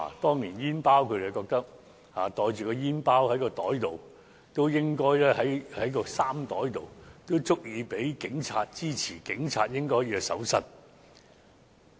他們覺得煙包放在衣袋內已足以被警察......支持警察應進行搜身。